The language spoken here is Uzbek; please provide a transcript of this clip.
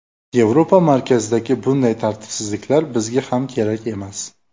Yevropa markazidagi bunday tartibsizliklar bizga ham kerak emas”.